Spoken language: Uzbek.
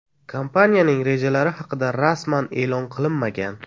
Kompaniyaning rejalari haqida rasman e’lon qilinmagan.